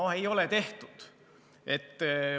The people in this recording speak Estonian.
No ei ole tehtud.